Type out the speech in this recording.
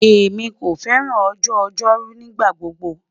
Emi ko fẹran ọjọ-ojoru nigbagbogbo